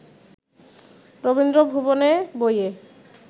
রবীন্দ্র ভুবনে বইয়ে